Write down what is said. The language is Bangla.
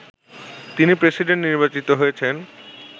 তিনি প্রেসিডেন্ট নির্বাচিত হয়েছেন